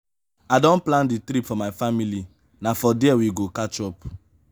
i don plan di trip for my family na for there we go catch up.